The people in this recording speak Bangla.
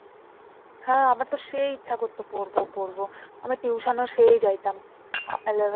হ্যাঁ আমার তো সেই ইচ্ছা করত পড়বো পড়বো আমি tuition ও সেই যাইতাম eleven